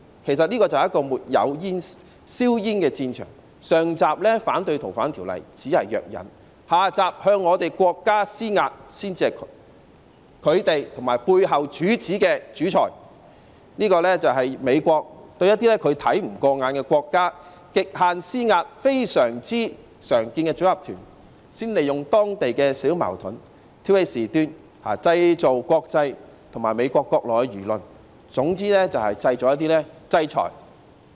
其實，這是個沒有硝煙的戰場，上集反對《逃犯條例》修訂只是藥引，下集向國家施壓才是他們和背後主子的主菜，這是美國對一些它看不過眼的國家的極限施壓，非常常見的組合拳，先利用當地小矛盾挑起事端，製造國際和美國國內輿論，總之就是要製造制裁。